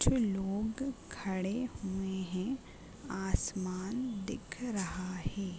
कुछ लोग खड़े हुए हैं। आसमान दिख रहा है।